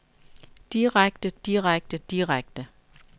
direkte direkte direkte